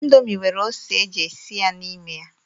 Indomi nwere ose eji esi ya n'ime ya.